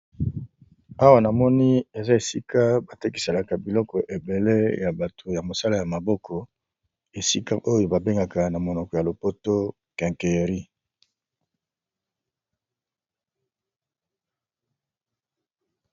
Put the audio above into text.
Awa namoni eza esika batekisaka biloko ebele ya batu ya musala ya maboko esika babengaka na monoko ya lopoto quincaillerie.